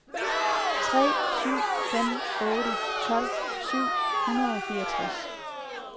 tre syv fem otte tolv syv hundrede og fireogtres